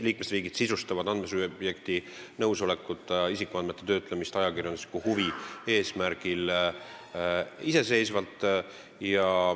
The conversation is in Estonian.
Liikmesriigid sisustavad andmesubjekti nõusolekuta isikuandmete töötlemist ajakirjandusliku huvi eesmärgil iseseisvalt.